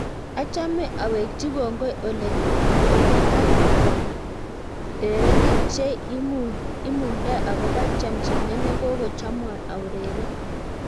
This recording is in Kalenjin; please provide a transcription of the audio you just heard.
Achamei awekchi kongoi Ole ak drerenik che imungdai akobo chamchinet neko chamwo aureren